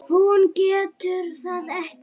Hún getur það ekki.